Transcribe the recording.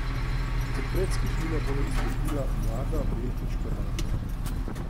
Kot predskupina bo nastopila Mlada Beltinška Banda.